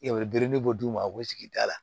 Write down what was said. I ye biriki bɔ d'u ma u sigida la